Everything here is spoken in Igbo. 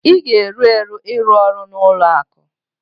ị ga-eru eru ịrụ ọrụ na ụlọ akụ